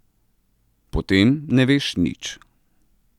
Potem ne veš nič.